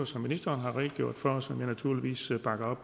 som ministeren har redegjort for og som jeg naturligvis bakker